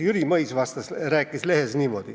Jüri Mõis rääkis lehes niimoodi: